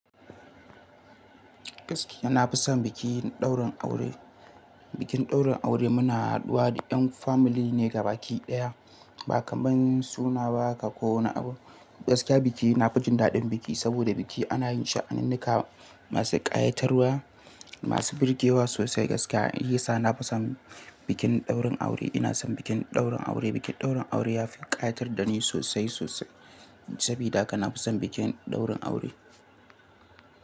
Gaskiya, na fi son bikin ɗaurin aure. Bikin ɗaurin aure muna haduwa da yan family ne gabaɗaya. Ba kaman suna ba ka ko wani abu. Gaskiya biki, na fi jin daɗin biki saboda biki ana yin sha'aninnika masu ƙayatarwa, masu birgewa sosai gaskiya. Shiyasa na fi son bikin ɗaurin aure. Ina son bikin ɗaurin aure. Bikin ɗaurin aure ya fi ƙayatar da ni sosai, sosai. Sabida haka na fi son bikin ɗaurin aure.